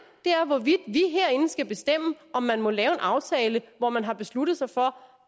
er hvorvidt vi herinde skal bestemme om man må lave en aftale hvor man har besluttet sig for